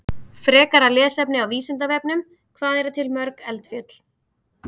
Frekara lesefni á Vísindavefnum: Hvað eru til mörg eldfjöll?